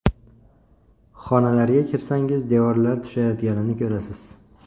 Xonalarga kirsangiz, devorlar tushayotganini ko‘rasiz.